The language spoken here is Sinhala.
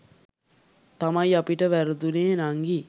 තමයි අපිට වැරදුනේ නංගි.